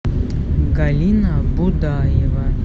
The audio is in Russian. галина будаева